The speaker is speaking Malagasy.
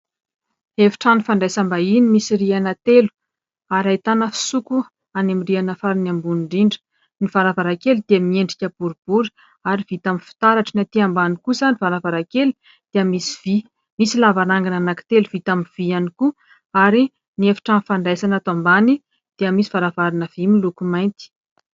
Efitrano fandraisam-bahiny misy rihana telo ary ahitana fisoko any amin'ny rihana farany ambony indrindra. Ny varavarankely dia miendrika boribory ary vita amin'ny fitaratra. Ny aty ambany kosa ny varavarankely dia misy vy. Misy lavarangana anankitelo vita amin'ny vy ihany koa ary ny efitrano fandraisana ato ambany dia misy varavarana vy miloko mainty.